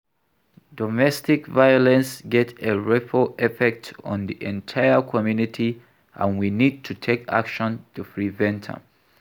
Domestic violence get a ripple effect on di entire community and we need to take action to prevent am.